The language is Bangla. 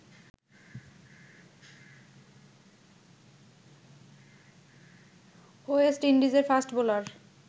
ওয়েস্ট ইন্ডিজের ফাস্ট বোলার